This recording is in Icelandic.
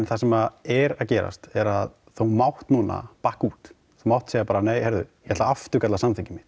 það sem er að gerast er að þú mátt núna bakka út þú mátt segja bara nei heyrðu ég ætla afturkalla samþykkið mitt